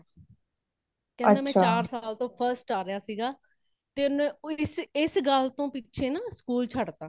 ਕੇਂਦਾ ਮੈ ਚਾਰ ਸਾਲ ਤੋਂ first ਆ ਰਹੀਆਂ ਸੀਗਾ, ਤੇ ਇਸ ਗੱਲ ਤੋਂ ਇਸ ਗੱਲ ਦੇ ਪਿੱਛੇ ਨਾ ਸਕੂਲ ਛੋੜ ਤਾ